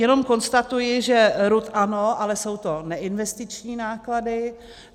Jen konstatuji, že RUD ano, ale jsou to neinvestiční náklady.